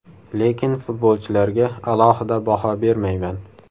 Lekin futbolchilarga alohida baho bermayman.